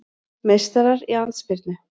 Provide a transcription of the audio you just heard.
Meistarar í andspyrnu